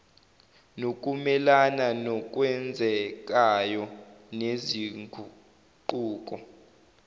nokumelana nokwenzekayo nezinguquko